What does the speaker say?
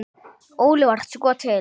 Óli var sko til.